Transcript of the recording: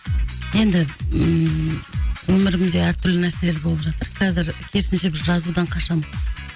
енді ммм өмірімде әртүрлі нәрселер болып жатыр қазір керісінше жазудан қашамын